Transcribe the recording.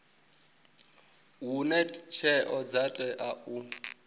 hune tsheo dza tea u